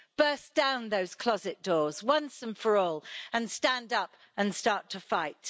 Burst down those closet doors once and for all and stand up and start to fight.